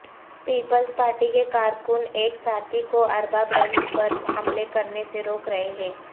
Peoples Party کے کارکن ایک ساتھی کو ارباب رحیم پر حملہ کرنےسے روک رہے ہیں